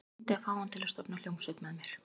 Reyndi að fá hann til að stofna hljómsveit með mér.